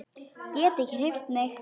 Get ekki hreyft mig.